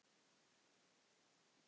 Það er allt annað mál.